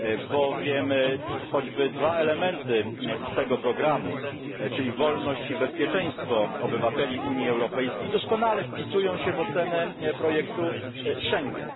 Bowiem choćby dwa elementy z tego programu, czyli wolność i bezpieczeństwo obywateli Unii Europejskiej doskonale wpisują się w ocenę projektu Schengen.